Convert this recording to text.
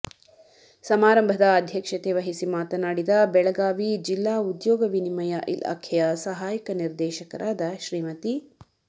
ಸಮಾರಂಭದ ಅಧ್ಯಕ್ಷತೆವಹಿಸಿ ಮಾತನಾಡಿದ ಬೆಳಗಾವಿ ಜಿಲ್ಲಾ ಉದ್ಯೌಗ ವಿನಿಮಯ ಇಲಾಖೆಯ ಸಹಾಯಕ ನಿರ್ದೇಶಕರಾದ ಶ್ರೀಮತಿ